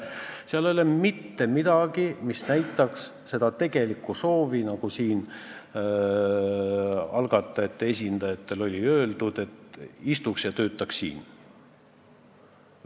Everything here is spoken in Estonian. Seal ei ole mitte midagi, mis näitaks seda tegelikku soovi, nagu algatajate esindajad väidavad, et inimene istuks siin ja teeks tööd.